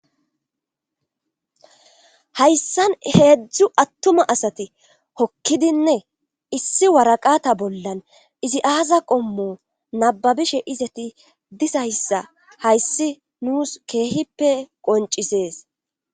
Hayssan heedzdzu attuma asati hokkidinne issi waraqata bollan izi aaza qommo nababishe izati disayssa hayssi nuus keehippe qoncisees.